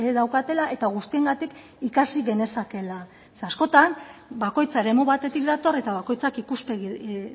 daukatela eta guztiengatik ikasi genezakeela zeren askotan bakoitza eremu batetik dator eta bakoitzak ikuspegi